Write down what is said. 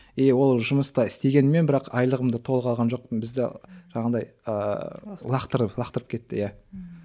и ол жұмыста істегеніммен бірақ айлығымда толық алған жоқпын бізді жаңағындай ыыы лақтырып кетті иә ммм